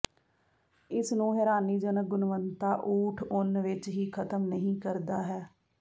ਇਸ ਨੂੰ ਹੈਰਾਨੀਜਨਕ ਗੁਣਵੱਤਾ ਊਠ ਉੱਨ ਵਿੱਚ ਹੀ ਖਤਮ ਨਹੀ ਕਰਦਾ ਹੈ